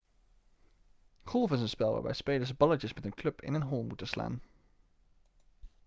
golf is een spel waarbij spelers balletjes met een club in een hole moeten slaan